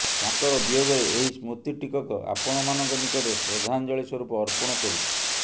ତାଙ୍କର ବିୟୋଗରେ ଏହି ସ୍ମୃତିଟିକକ ଆପଣମାନଙ୍କ ନିକଟରେ ଶ୍ରଦ୍ଧାଞ୍ଜଳୀ ସ୍ୱରୂପ ଅର୍ପଣ କରୁଛୁ